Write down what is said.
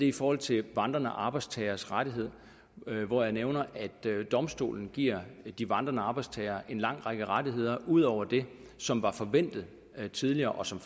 i forhold til vandrende arbejdstageres rettigheder hvor jeg nævner at domstolen giver de vandrende arbejdstagere en lang række rettigheder ud over det som var forventet tidligere og som